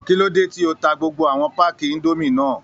Kí ló dé tí o ta gbogbo àwọn páàkì indomie náà?